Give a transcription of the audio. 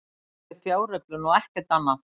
Þetta er fjáröflun og ekkert annað